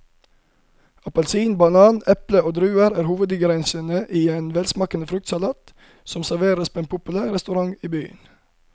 Appelsin, banan, eple og druer er hovedingredienser i en velsmakende fruktsalat som serveres på en populær restaurant i byen.